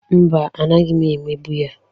Mba, anaghị m emegbu ya.